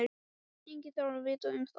Enginn þarf að vita um það.